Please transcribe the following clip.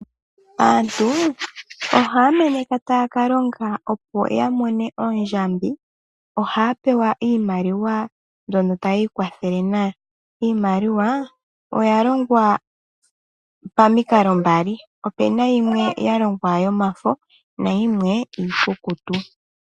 Aantu ohaya meneka taya ka longa opo ya mone ondjambi, ohaya pewa iimaliwa mbyono taya ikwathele nayo. Iimaliwa oya longwa pamikalo mbali: ope na yimwe ya longwa yomafo nayimwe iikukutu.